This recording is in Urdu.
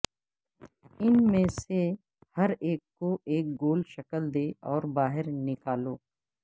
ان میں سے ہر ایک کو ایک گول شکل دے اور باہر نکالو